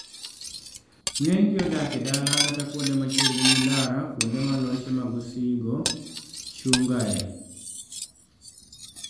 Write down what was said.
ng'eny gi odak e dala kata kuonde machiegni gi ndara kuonde ma loche mag osigo chung' ga e